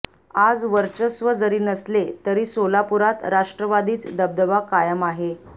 आज वर्चस्व जरी नसले तरी सोलापुरात राष्ट्रवादीच दबदबा कायम आहे